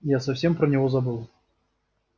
я совсем про него забыл